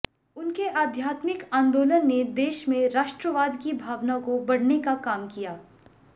उनके आध्यात्मिक आंदोलन ने देश मे राष्ट्रवाद की भावना को बढ़ने का काम किया